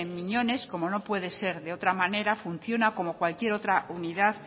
miñones como no puede ser de otra manera funciona como cualquier otra unidad